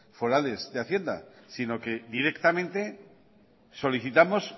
forales de hacienda sino que directamente solicitamos